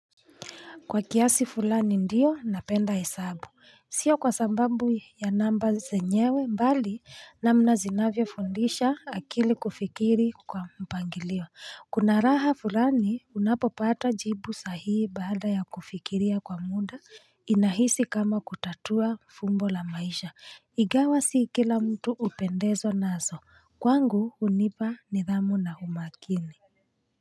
Kwa kiasi fulani ndio napenda hesabu. Sio kwa sababu ya namba zenyewe mbali namna zinavyo fundisha akili kufikiri kwa mpangilio. Kuna raha fulani unapopata jibu sahihi baada ya kufikiria kwa muda, inahisi kama kutatua fumbo la maisha. Igawa si kila mtu upendezwa nazo. Kwangu hunipa nidhamu na umakini.